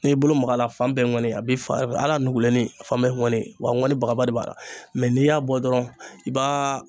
N'i y'i bolo mag'a la a fan bɛɛ ye ŋɔni a b'i fara ala nuguleni a fan bɛɛ ye ŋɔni wa a ŋɔni bagaba de b'a la mɛ n'i y'a bɔ dɔrɔn i b'a